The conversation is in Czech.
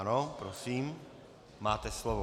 Ano, prosím, máte slovo.